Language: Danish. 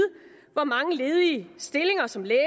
hvor mange ledige stillinger som læge